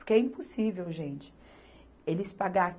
Porque é impossível, gente, eles pagar